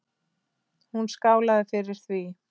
Hún skálaði fyrir því.